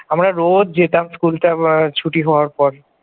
আমরা রোজ যেতাম school time ছুটি হবার পর ।